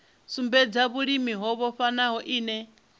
sumbedza vhulimi ho vhofhanaho ine